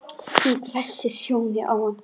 Hún hvessir sjónir á hann.